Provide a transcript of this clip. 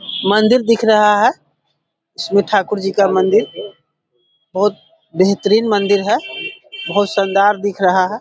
मंदिर दिख रहा है जिसमे ठाकुर जी का मंदिर और बहोत बेहतरीन मंदिर है बहोत शानदार दिख रहा है।